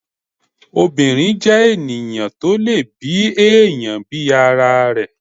obìnrín jẹ́ ènìyàn tó lè bi èèyàn bí ara rẹ̀